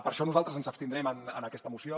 per això nosaltres ens abstindrem en aquesta moció